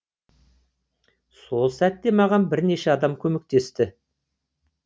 сол сәтте маған бірнеше адам көмектесті